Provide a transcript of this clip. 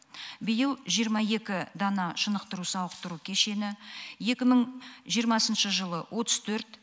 биыл жиырма екі дана шынықтыру сауықтыру кешені ал екі мың жиырмасыншы жылы отыз төрт